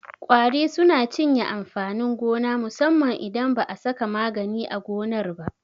Ƙwari suna cinye amfanin gona musamman idan ba a saka magani a gonar ba.